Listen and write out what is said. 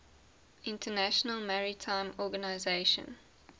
international maritime organization